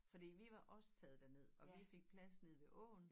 Fordi vi var også taget derned og vi fik plads nede ved åen